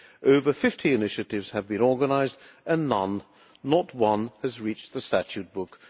Over 50 initiatives have been organised and none, not one, has reached the statute book.